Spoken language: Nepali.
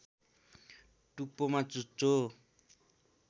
टुप्पोमा चुच्चो